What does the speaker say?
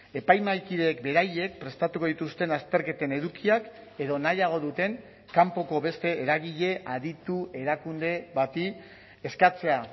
epaimahaikideek beraiek prestatuko dituzten azterketen edukiak edo nahiago duten kanpoko beste eragile aditu erakunde bati eskatzea